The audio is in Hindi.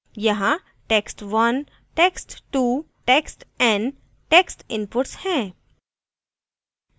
यहाँ text1 text2 textn text inputs हैं